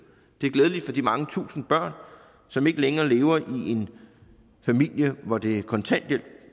det er glædeligt for de mange tusinde børn som ikke længere lever i en familie hvor det er kontanthjælp